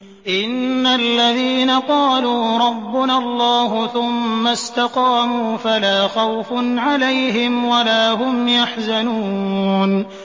إِنَّ الَّذِينَ قَالُوا رَبُّنَا اللَّهُ ثُمَّ اسْتَقَامُوا فَلَا خَوْفٌ عَلَيْهِمْ وَلَا هُمْ يَحْزَنُونَ